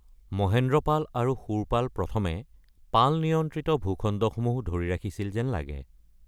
মহেন্দ্ৰপাল আৰু শূৰপাল প্ৰথমে পাল নিয়ন্ত্ৰিত ভূখণ্ডসমূহ ধৰি ৰাখিছিল যেন লাগে।